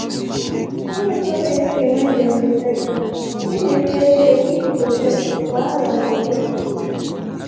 e no tok anything wen dem dey search am im dey fear say if e protest wahala go sup.